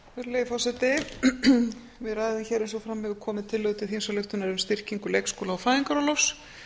virðulegi forseti við ræðum hér eins og fram hefur komið tillögu til þingsályktunar um styrkingu leikskóla og fæðingarorlofs